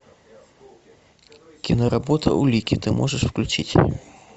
киноработа улики ты можешь включить